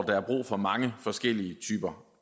der er brug for mange forskellige typer